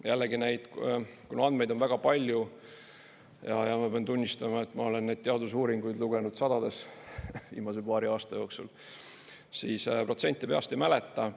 Ja jällegi, kuna andmeid on väga palju – ja ma pean tunnistama, et ma olen neid teadusuuringuid lugenud sadades viimase paari aasta jooksul –, siis protsente peast ei mäleta.